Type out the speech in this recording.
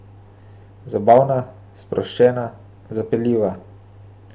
Zabavna, sproščena, zapeljiva.